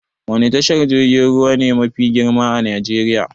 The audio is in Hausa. Wani tashar jirgin ruwa ne mafi girma a Najeriya?